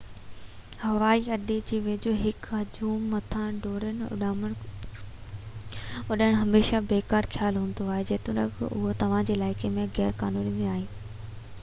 هوائي اڏي جي ويجهو يا هڪ هجوم مٿان ڊِرون اڏئڻ هميشه بيڪار خيال هوندو آهي جيتوڻيڪ اِهو توهان جي عِلائقي ۾ غير قانوني ناهي